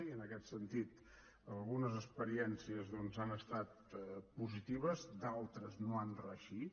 i en aquest sentit algunes experiències doncs han estat positives d’altres no han reeixit